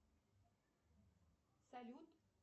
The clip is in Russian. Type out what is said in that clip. салют